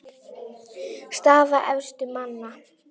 Staða efstu manna